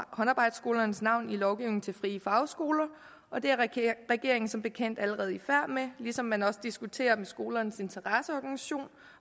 håndarbejdsskolernes navn i lovgivningen til frie fagskoler og det er regeringen som bekendt allerede i færd med ligesom man også diskuterer skolernes interesseorganisation og